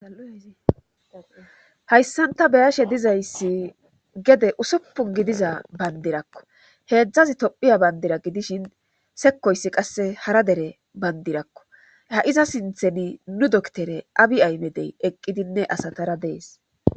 Alozihayssanta beyashe dizayssi gede usuppun gidiza bandirakko heedzdzazi tophiya bayndira gidishin sekoyssi qasse hara dere bayndirakko ha7iza sintheni nu doktere abi aymedey eqqidinne asatara dees